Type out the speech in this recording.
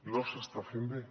no s’està fent bé